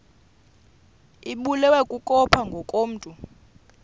ibulewe kukopha ngokomntu